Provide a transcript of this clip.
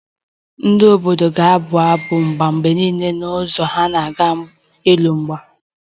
Ndị obodo ga-abụ abụ agha mgbe niile n'ụzọ ha na-aga ịlụ agha